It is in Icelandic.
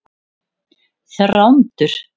Þrándur